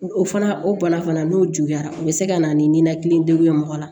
O fana o bana fana n'o juguyara u bɛ se ka na ni ninakili degun ye mɔgɔ la